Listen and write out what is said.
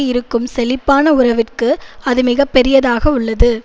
இருக்கும் செழிப்பான உறவிற்கு அது மிக பெரிதாக உள்ளது